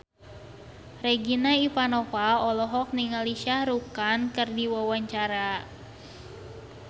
Regina Ivanova olohok ningali Shah Rukh Khan keur diwawancara